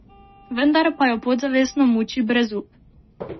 Vendar pa jo podzavestno muči brezup.